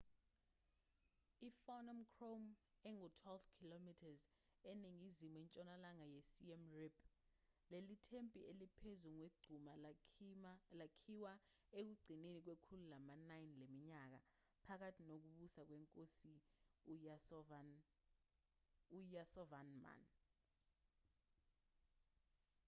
i-phnom krom engu-12 km eningizimu ntshonalanga yesiem reap leli thempeli eliphezu kwegquma lakhiwa ekugcineni kwekhulu lama-9 leminyaka phakathi nokubusa kwenkosi uyasovarman